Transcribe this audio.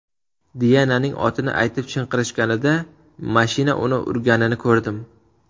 Diananing otini aytib chinqirishganida mashina uni urganini ko‘rdim.